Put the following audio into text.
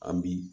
An bi